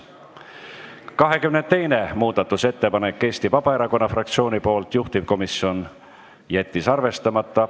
22. muudatusettepanek on Eesti Vabaerakonna fraktsioonilt, juhtivkomisjon jättis arvestamata.